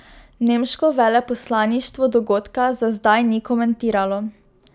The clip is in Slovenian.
Nemško veleposlaništvo dogodka za zdaj ni komentiralo.